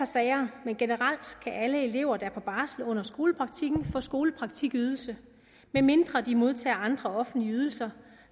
sager men generelt kan alle elever der er på barsel under skolepraktikken få skolepraktikydelse medmindre de modtager andre offentlige ydelser